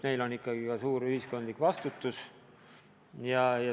Neil on ikkagi ka suur ühiskondlik vastutus.